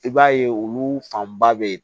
I b'a ye olu fanba bɛ yen